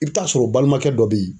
I bɛ t'a sɔrɔ balimakɛ dɔ bɛ ye.